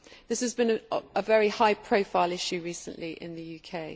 this has been a very high profile issue recently in the UK.